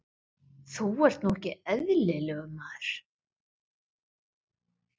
Þú ert nú ekki eðlilegur, maður!